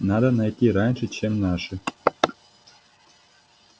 надо найти раньше чем наши